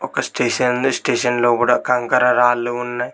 ఒక స్టేషన్లు స్టేషన్ లోపట కంకర రాళ్ళు ఉన్నయ్.